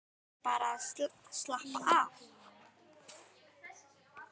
Eða bara að slappa af.